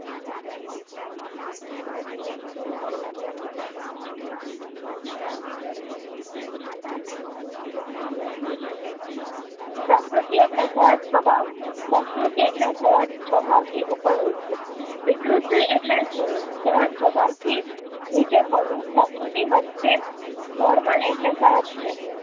પ્રકૃતિ એટલે સહજ સ્વભાવ સંસ્કૃતિ એટલે સહેજ સ્વભાવથી ઉપર ઉઠવું વિકૃતિ એટલે સહેદ સ્વભાવ થી નીચે પડવું પ્રકૃતિ વરચે normal એટલે સહજ છે.